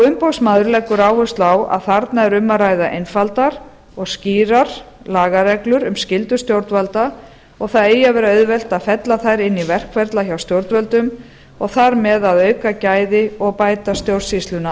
umboðsmaður leggur áherslu á að þarna er um að ræða einfaldar og skýrar lagareglur um skyldu stjórnvalda og það eigi að ver auðvelt að fella þær inn í verkferla hjá stjórnvöldum og þar með að auka gæði og bæta stjórnsýsluna